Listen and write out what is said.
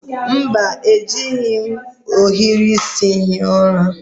Mba, ejighi m ohiri isi hie ụra